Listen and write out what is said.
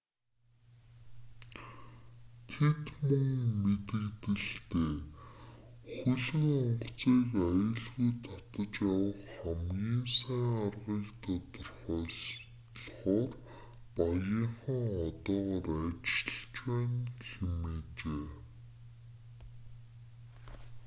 тэд мөн мэдэгдэлдээ хөлөг онгоцыг аюулгүй татаж авах хамгийн сайн аргыг тодорхойлохоор багийнхан одоогоор ажиллаж байна гэжээ